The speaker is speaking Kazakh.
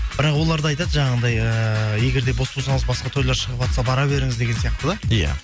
бірақ олар да айтады жанағындай ыыы егер де бос болсаңыз басқа тойлар шығыватса бара беріңіз деген сияқты да иә